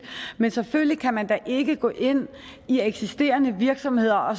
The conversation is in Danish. men selvfølgelig kan man da ikke gå ind i eksisterende virksomheder og